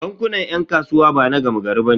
Bankunan 'yan kasuwa bana gama gari bane.